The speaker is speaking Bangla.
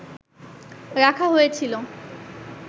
রাখা হয়েছিল